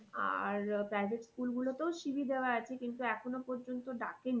আর private school গুলোতেও CV দেওয়া আছে কিন্তু এখনো পর্যন্ত ডাকেনি।